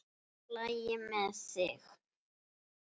LAGI MEÐ ÞIG?